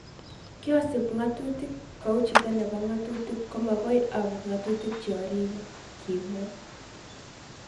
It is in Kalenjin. Kyasup ng'atutik, kou chito nepo ng'atutik ko makoi aput ngatutik cheoripei",kimwa